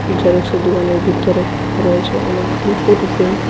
জেরক্সের দোকানের ভিতরে রয়েছে অনেকগুলি ফটো ফ্রেম ।